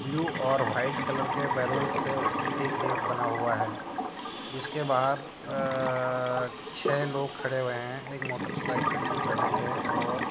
Blue और white colour के balloons से उसकी एक गेट बना हुआ है जिसके बाहर अ-अ-अ छे (छह) लोग खड़े हुए है एक मोटरसाइकिल भी खडी है और।